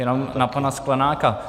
Jenom na pana Sklenáka.